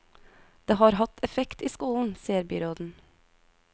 Det har hatt effekt i skolen, sier byråden.